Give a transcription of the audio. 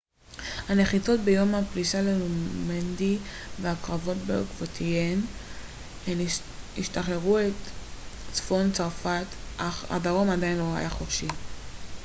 הנחיתות ביום הפלישה לנורמנדי והקרבות בעקבותיהן שחררו את צפון צרפת אך הדרום עדיין לא היה חופשי